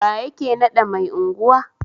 Wa yake nada mai unguwa?